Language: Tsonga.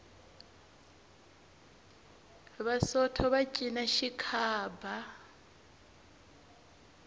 vasotho va cina xikhaba